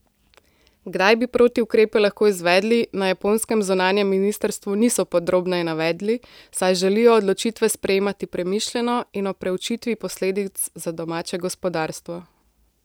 Kdaj bi protiukrepe lahko izvedli, na japonskem zunanjem ministrstvu niso podrobneje navedli, saj želijo odločitve sprejemati premišljeno in ob preučitvi posledic za domače gospodarstvo.